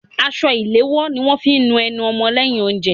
Aṣọ ìléwọ́ ni wọ́n fí ń nu ẹnu ọmọ lẹ́yìn oúnjẹ.